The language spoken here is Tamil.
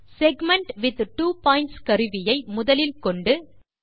செக்மென்ட் வித் ட்வோ பாயிண்ட்ஸ் கருவியை முதலில் கொண்டு